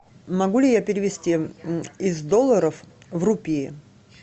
могу ли я перевести из долларов в рупии